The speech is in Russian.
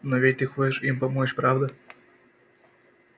но ведь ты хочешь им помочь правда